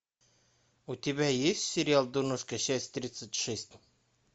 у тебя есть сериал дурнушка часть тридцать шесть